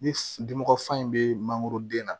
Ni dimimɔgɔ fan in bɛ mangoro den na